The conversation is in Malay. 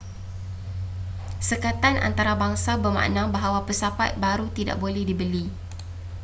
sekatan antarabangsa bermakna bahawa pesawat baru tidak boleh dibeli